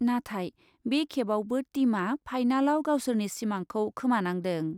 नाथाय बे खेबआवबो टीमआ फाइनालाव गावसोरनि सिमांखौ खोमानांदों।